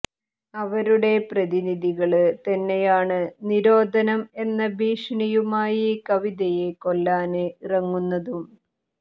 അവരുടെ പ്രതിനിധികള് തന്നെയാണ് നിരോധനം എന്ന ഭീഷണിയുമായി കവിതയെ കൊല്ലാന് ഇറങ്ങുന്നതും